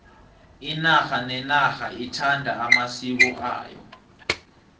inarha nenarha ithanda amasiko ayo